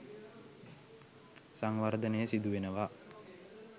සංවර්ධනය සිදුවෙනවා